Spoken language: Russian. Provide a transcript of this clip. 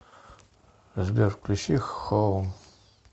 сбер включи хоум